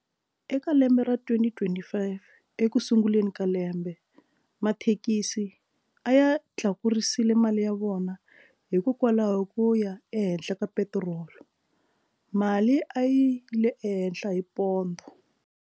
Eka lembe ra twenty twenty five eku sunguleni ka lembe mathekisi a ya tlakurisile mali ya vona hikokwalaho ko ya ehenhla ka petirolo mali a yi le ehenhla hi pondho.